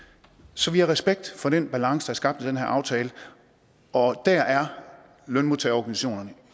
så vi har respekt for den balance der er skabt i den her aftale og der er lønmodtagerorganisationerne